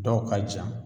Dɔw ka jan